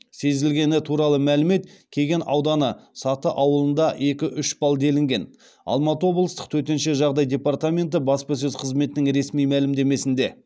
сезілгені туралы мәлімет кеген ауданы саты ауылында екі үш балл делінген алматы облыстық төтенше жағдай департаменті баспасөз қызметінің ресми мәлімдемесінде